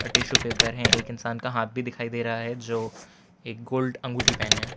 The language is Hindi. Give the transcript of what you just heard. टिशू पेपर हैं एक इंसान का हाथ भी दिखाई दे रहा है जो एक गोल्ड अंगूठी पहने हैं।